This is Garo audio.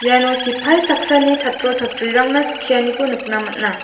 iano sipai saksani chatro chatrirangna skianiko nikna man·a.